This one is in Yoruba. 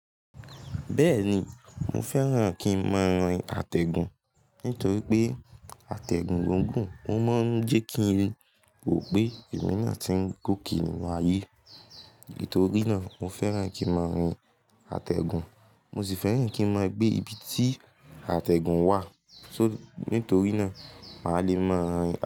Bẹ́ẹ̀ni, mo fẹ́ràn kí ń máa rin àtẹ̀gùn nítorí pé àtẹ̀gùn gúngùn, ó máa ń jẹ́ kí n ròpé èmi náà tí ń gòkè nínú ayé. Nítorí náà mo fẹ́ràn kí ń máa rin àtẹ̀gùn. Mo sì fẹ́ràn kí ń máa gbé ibi tí àtẹ̀gùn wà. So, nítorí náà mà á le máa.